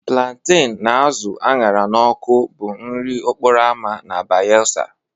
Plantain na azụ a ṅara n'ọkụ bụ nri okporo ámá na Bayelsa